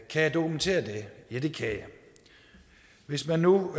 kan jeg dokumentere det ja det kan jeg hvis man nu